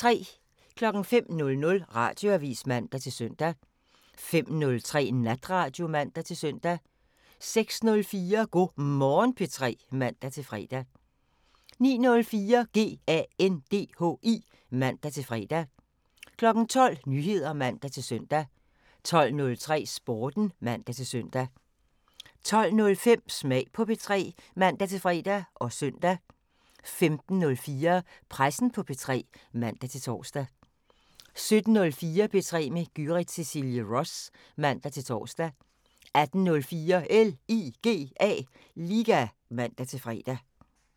05:00: Radioavisen (man-søn) 05:03: Natradio (man-søn) 06:04: Go' Morgen P3 (man-fre) 09:04: GANDHI (man-fre) 12:00: Nyheder (man-søn) 12:03: Sporten (man-søn) 12:05: Smag på P3 (man-fre og søn) 15:04: Pressen på P3 (man-tor) 17:04: P3 med Gyrith Cecilie Ross (man-tor) 18:04: LIGA (man-fre)